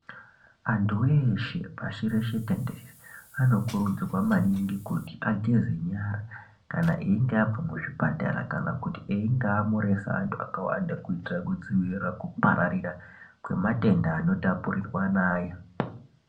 Antu eshe pashi reshe tenderere anokurudzirwa maningi kuti ageze nyara kana einge advanced muzvipatara kana kuti einge amhoresa vakawanda kuitira kudzivirira kupararira kwematenda anotapurirwana .